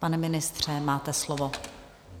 Pane ministře, máte slovo.